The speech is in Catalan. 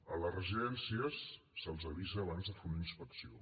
a les residències se’ls avisa abans de fer una inspecció